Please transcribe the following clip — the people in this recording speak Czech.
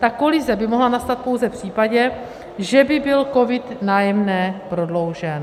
Ta kolize by mohla nastat pouze v případě, že by byl COVID - Nájemné prodloužen.